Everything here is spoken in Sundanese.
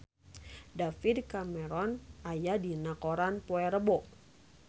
David Cameron aya dina koran poe Rebo